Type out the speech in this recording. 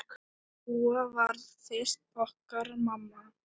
Dúa varð fyrst okkar mamma.